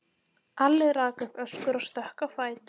Alli rak upp öskur og stökk á fætur.